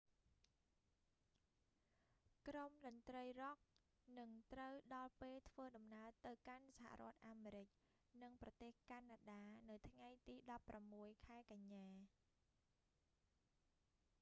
ក្រុមតន្រ្តីរ៉ុកនឹងត្រូវដល់ពេលធ្វើដំណើរទៅកាន់សហរដ្ឋអាមេរិក និងប្រទេសកាណាដា នៅថ្ងៃទី16 ខែកញ្ញា